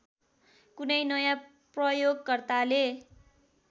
कुनै नयाँ प्रयोगकर्ताले